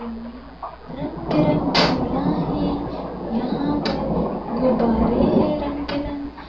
में रंग बिरंग फूला हैं यहां पर गुब्बारे हैं रंग बिरंग--